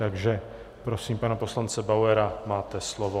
Takže prosím pana poslance Bauera, máte slovo.